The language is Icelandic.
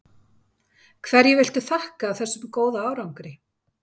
Hverju viltu þakka þessum góða árangri?